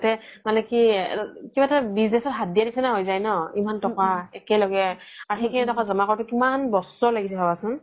লগতে মানে কি কিবা এটা business হাত দিয়াৰ নিচিনা হৈ যাই ন ইমান তকা একেলগে আৰু সিখিনি তকা জ্মা কৰোতে কিমান বছৰ লাগিছে ভাবাচোন